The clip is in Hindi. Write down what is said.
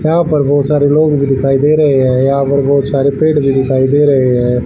यहां पर बहुत सारे लोग भी दिखाई दे रहे हैं यहां पर बहुत सारे पेड़ भी दिखाई दे रहे हैं।